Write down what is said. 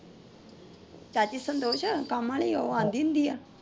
ਚਾਚੀ ਸੰਤੋਸ਼ ਕੰਮ ਵਾਲੀ ਉਹ ਆਉਂਦੀ ਹੁੰਦੀ ਆ।